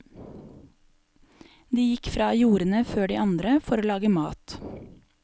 De gikk fra jordene før de andre for å lage mat.